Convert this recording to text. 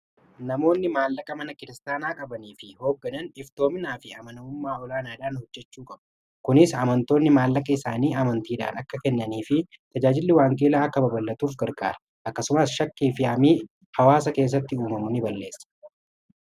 namoonni maallaqa mana kiristaanaa qabanii fi hoogganan iftoomnaa fi amanamummaa olaanaadhaan hojjechuu qabu kunis amantoonni maallaqa isaanii amantiidhaan akka kennanii fi tajaajilli waangeelaa akka babalatuuf gargaara akkasumaas shakkii fi hamii hawaasa keessatti uumamu ni balleessa